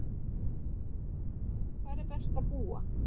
Hvar sé best að búa?